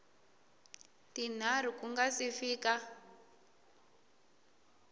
tinharhu ku nga si fika